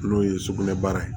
N'o ye sugunɛbara ye